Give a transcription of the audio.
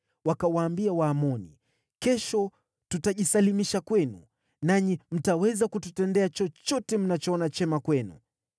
Wakawaambia Waamoni, “Kesho tutajisalimisha kwenu, nanyi mtaweza kututendea chochote mnachoona chema kwenu.”